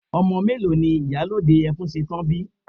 Ọmọ mélòó ni ìyálòde Ẹfúnsetán bi?